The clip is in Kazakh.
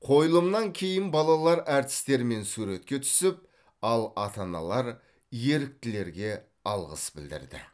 қойылымнан кейін балалар әртістермен суретке түсіп ал ата аналар еріктілерге алғыс білдірді